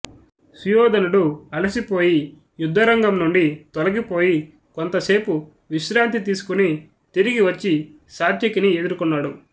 సుయోధనుడు అలసి పోయి యుద్ధరంగం నుండి తొలగి పోయి కొంతసేపు విశ్రాంతి తీసుకుని తిరిగి వచ్చి సాత్యకిని ఎదుర్కొన్నాడు